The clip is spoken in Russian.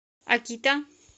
акита